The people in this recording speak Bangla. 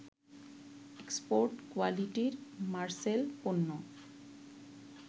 এক্সপোর্ট কোয়ালিটির মারসেল পণ্য